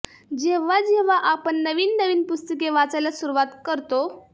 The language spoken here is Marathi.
जेव्हा जेव्हा आपण नवीन नवीन पुस्तके वाचायला सुरुवात करतो